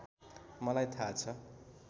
मलाई थाहा छ